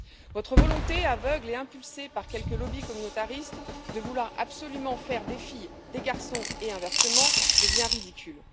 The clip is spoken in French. Votre volonté aveugle et impulsée par quelques lobbies communautaristes de vouloir absolument faire des filles des garçons, et inversement, devient ridicule.